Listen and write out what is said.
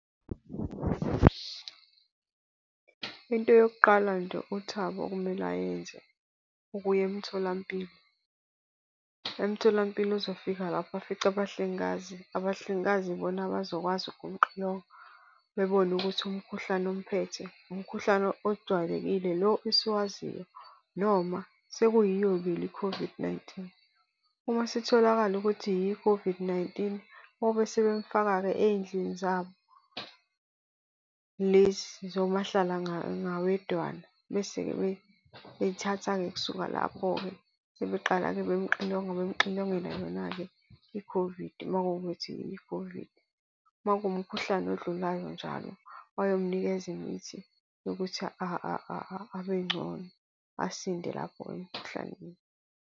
Into yokuqala nje uThabo okumele ayenze ukuya emtholampilo. Emtholampilo uzofika lapho afice abahlengikazi, abahlengikazi ibona abazokwazi ukumxilonga bebone ukuthi umkhuhlane omphethe umkhuhlane ojwayelekile lo esiwaziyo, noma sekuyiyo vele i-COVID-19. Uma isitholakala ukuthi yiyo i-COVID-19 bobe sebemfaka-ke ey'ndlini zabo, lezi zomahlala ngawedwana. Bese-ke bethatha-ke kusuka lapho-ke sebeqala-ke bemxilonga, bemxilongela yona-ke i-COVID uma kuwukuthi yi-COVID. Uma kuwumkhuhlane odlulayo njalo, bayomnikeza imithi yokuthi abe ngcono asinde lapho emikhuhlaneni.